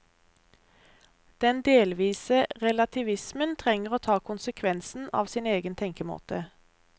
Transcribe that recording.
Den delvise relativismen trenger å ta konsekvensen av sin egen tenkemåte.